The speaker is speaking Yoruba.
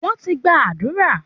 Wọ́n ti gba àdúrà